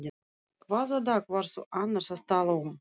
Hvaða dag varstu annars að tala um?